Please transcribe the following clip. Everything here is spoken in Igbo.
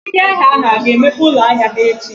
ndị ahịa ga-emepe ụlọ ahịa ha echi?